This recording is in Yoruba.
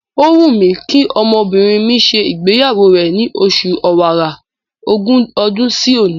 Ó wù mí kí ọmọbìnrin mi ṣe ìgbéyàwó rẹ̀ ni oṣù Ọ̀wàrà, ogún ọdún sí òní.